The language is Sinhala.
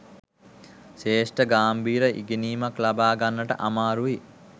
ශ්‍රේෂ්ඨ ගාම්භීර ඉගෙනීමක් ලබා ගන්නට අමාරුයි.